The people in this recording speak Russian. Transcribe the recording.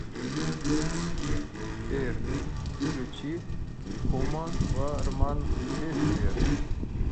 сбер включи уматурман бестия